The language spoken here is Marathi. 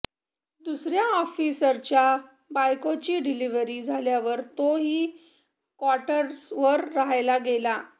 दुसर्या ऑफिसरच्या बायकोची डिलिव्हरी झाल्यावर तोही क्वार्टर्सवर राहायला गेला